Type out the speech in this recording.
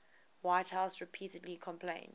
whitehouse repeatedly complained